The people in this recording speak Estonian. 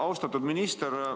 Austatud minister!